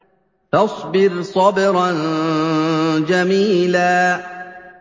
فَاصْبِرْ صَبْرًا جَمِيلًا